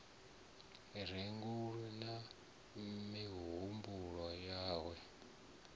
re ngomu na mihumbulo yawe